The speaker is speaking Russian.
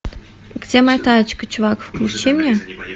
где моя тачка чувак включи мне